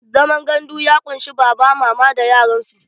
Zaman gandu ya ƙunshi baba, mama da yaran su.